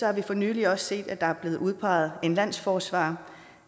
har vi for nylig også set at der er blevet udpeget en landsforsvarer